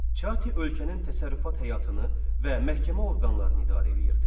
Çati ölkənin təsərrüfat həyatını və məhkəmə orqanlarını idarə eləyirdi.